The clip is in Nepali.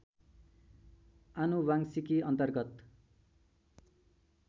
आनुवांशिकी अन्तर्गत